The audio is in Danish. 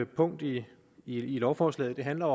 punkt i lovforslaget handler